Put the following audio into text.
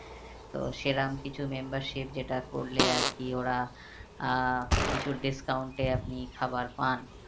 তো সেরম কিছু membership যেটা করলে আর কি ওরা আহ কিছু discount এ আপনি খাবার পান